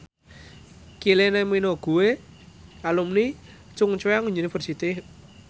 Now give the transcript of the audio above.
Kylie Minogue kuwi alumni Chungceong University